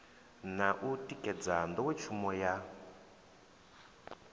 na u tikedza nḓowetshumo ya